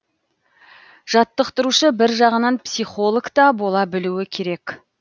жаттықтырушы бір жағынан психологта бола білуі керек